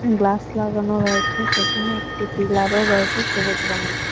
Glass লাগানো রয়েছে সেখানে একটি পিলারও রয়েছে সবুজ রঙের।